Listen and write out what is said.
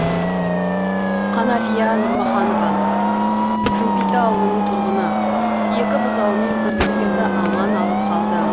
қанафия нұрмұханова жымпиты ауылының тұрғыны екі бұзауымен бір сиырды аман алып қалды